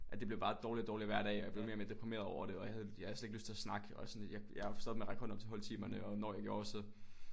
Det blev bare dårligere og dårligere hver dag og jeg blev mere og mere deprimeret over det og jeg havde slet ikke lyst til at snakke og sådan jeg jeg stoppede med at række hånden op til holdtimerne og når jeg gjorde så